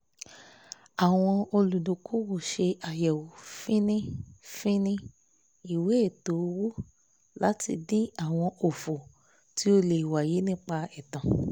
àwọn olùdókòwò ṣe àyẹ̀wò fíní-fíní ìwé ètò owó láti dín àwọn òfò tí ó lè wáyé nípa ètan